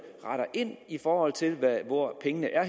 retter ind i forhold til hvor pengene er